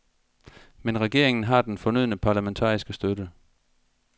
Men regeringen har den fornødne parlamentariske støtte.